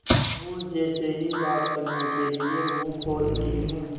और जैसे ही बात करने के लिए मुँह खोलती हूँ